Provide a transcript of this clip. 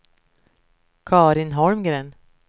Carin Holmgren